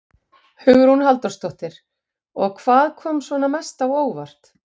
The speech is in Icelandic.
Hugrún Halldórsdóttir: Og hvað kom svona mest á óvart?